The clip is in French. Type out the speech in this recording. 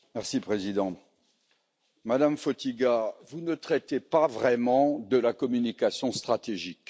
Monsieur le Président, Madame Fotyga, vous ne traitez pas vraiment de la communication stratégique.